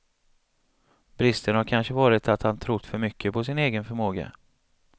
Bristen har kanske varit att han trott för mycket på sin egen förmåga.